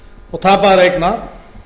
og tapaðra eigna